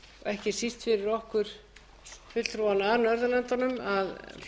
ekki síst fyrir okkur fulltrúana frá norðurlöndunum að